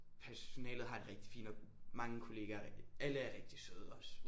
Personalet har jeg det rigtig fint med mange kollegaer alle er rigtig søde også